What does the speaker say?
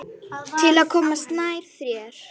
Til að komast nær þér.